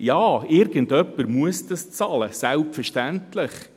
Ja, irgendjemand muss das bezahlen, selbstverständlich.